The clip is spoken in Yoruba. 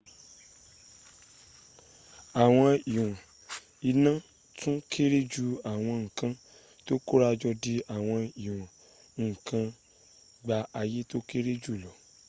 àwọn ìwọn iná tún kéré ju àwọn n´ kan tó kórajọ di àwọn ìwọn nkan tó gba àyè tó kéré jùlọ